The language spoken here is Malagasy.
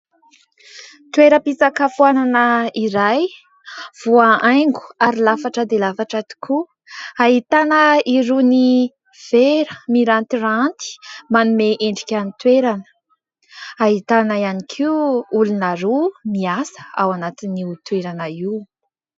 toera-pitsakafoanana iray voahaingo ary lafatra dia lafatra tokoa hahitana iroa ny vera mirantyranty manome endrika ny toerana hahitana ihany koa olona roa miasa ao anatin'ny ho toerana io